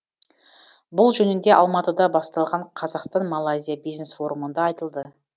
бұл жөнінде алматыда басталған қазақстан малайзия бизнес форумында айтылды